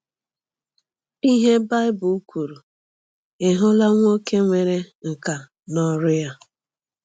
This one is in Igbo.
IHE BAỊBỤL KWURU: Ị hụla nwoke nwere nkà n’ọrụ ya?